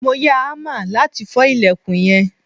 mo ya hammer lati fo ilekun yen